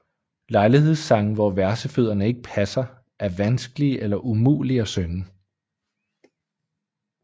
Lejlighedssange hvor versefødderne ikke passer er vanskelige eller umulige at synge